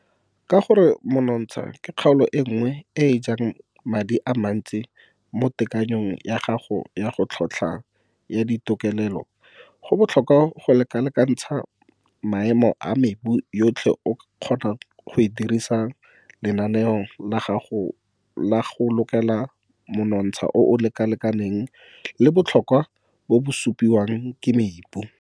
Ka gore monontsha ke kgaolo e nngwe e e jang madi a mansti mo tekanyong ya gago ya tlhotlhwa ya ditokelelo go botlhokwa go lekalekantsha maemo a mebu yotlhe go kgona go dirisa lenaneo la go lokela monontsha o o lekalekaneng le botlhokwa bo bo supiwang ke mebu.